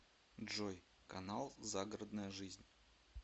джой канал загородная жизнь